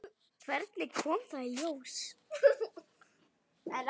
Hvernig kom það í ljós?